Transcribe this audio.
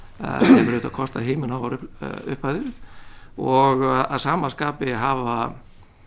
hefur auðvitað kostað himinháar upphæðir og að sama skapi hafa